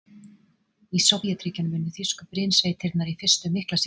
Í Sovétríkjunum unnu þýsku brynsveitirnar í fyrstu mikla sigra.